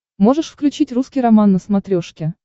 можешь включить русский роман на смотрешке